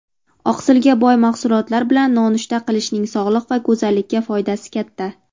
Oqsilga boy mahsulotlar bilan nonushta qilishning sog‘liq va go‘zallikka foydasi katta.